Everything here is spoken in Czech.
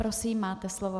Prosím, máte slovo.